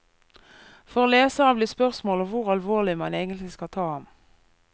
For leseren blir spørsmålet hvor alvorlig man egentlig skal ta ham.